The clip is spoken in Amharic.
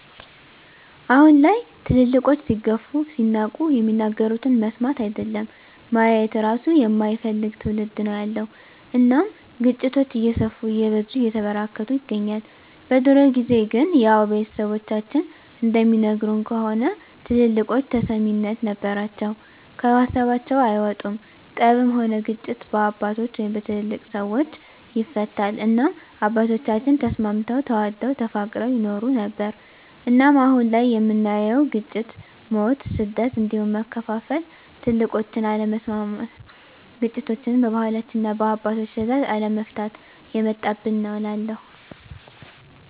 አሁን ላይ ትልልቆች ሲገፉ ሲናቁ የሚናገሩትን መስማት አይደለም ማየት እራሱ የማይፈልግ ትዉልድ ነዉ ያለዉ እናም ግጭቶች እየሰፉ እየበዙ እየተበራከቱ ይገኛል። በድሮ ጊዜ ግን ያዉ ቤተሰቦቻችን እንደሚነግሩን ከሆነ ትልልቆች ተሰሚነት ነበራቸዉ ከሀሳባቸዉ አይወጡም ጠብም ሆነ ግጭት በአባቶች(በትልልቅ ሰወች) ይፈታል እናም አባቶቻችን ተስማምተዉ ተዋደዉ ተፋቅረዉ ይኖሩ ነበር። እናም አሁን ላይ የምናየዉ ግጭ፣ ሞት፣ ስደት እንዲሁም መከፋፋል ትልቆችን አለመስማት ግጭቶችችን በባህላችንና እና በአባቶች ትእዛዝ አለመፍታት የመጣብን ነዉ እላለሁ።